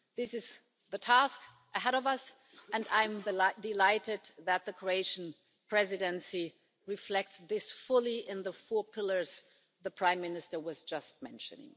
This is the task ahead of us and I am delighted that the Croatian Presidency reflects this fully in the four pillars the Prime Minister just mentioned.